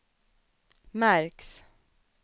märks